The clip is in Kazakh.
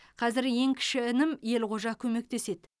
қазір ең кіші інім елғожа көмектеседі